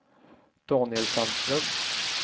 Daniel Sandström